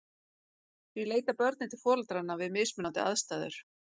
Því leita börnin til foreldranna við mismunandi aðstæður.